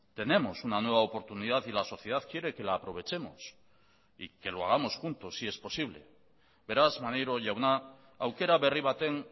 tenemos una nueva oportunidad y la sociedad quiere que la aprovechemos y que lo hagamos juntos si es posible beraz maneiro jauna aukera berri baten